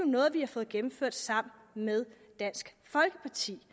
noget vi har fået gennemført sammen med dansk folkeparti